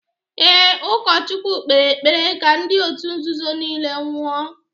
Ee, ụkọchukwu kpere ekpere ka ndị otu nzuzo nile nwụọ